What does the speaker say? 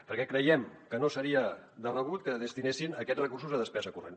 perquè creiem que no seria de rebut que destinessin aquests recursos a despesa corrent